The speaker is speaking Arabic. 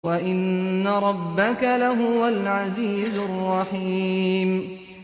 وَإِنَّ رَبَّكَ لَهُوَ الْعَزِيزُ الرَّحِيمُ